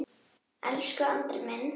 Elsku Andri minn.